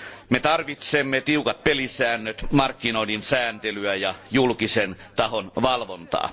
Me tarvitsemme tiukat pelisäännöt, markkinoiden sääntelyä ja julkisen tahon valvontaa.